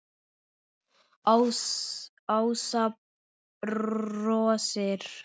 Ása brosir.